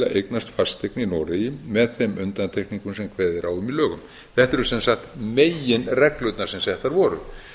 að eignast fasteign í noregi með þeim undantekningum sem kveðið er á um í lögunum þetta eru sem sagt meginreglurnar sem settar